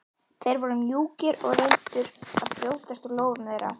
Þeir voru mjúkir og reyndu að brjótast úr lófum þeirra.